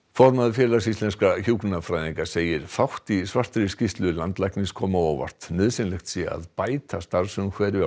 formaður Félags íslenskra hjúkrunarfræðinga segir fátt í svartri skýrslu landlæknis koma á óvart nauðsynlegt sé að bæta starfsumhverfi á